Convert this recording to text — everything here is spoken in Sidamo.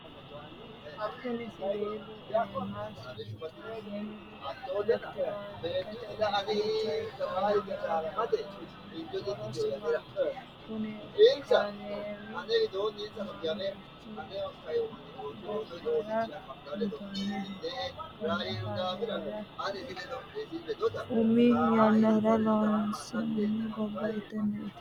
kuni siwiilu iima suntoonnihu elekitirikete uduunnicho ikkinohu horosi maati? kuni kaameeri mamiichi gobbara suntoonniho? konne kaameera umi yannara loossino gobba hiittenneeti?